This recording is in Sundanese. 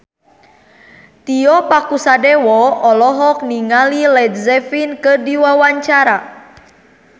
Tio Pakusadewo olohok ningali Led Zeppelin keur diwawancara